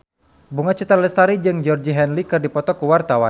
Bunga Citra Lestari jeung Georgie Henley keur dipoto ku wartawan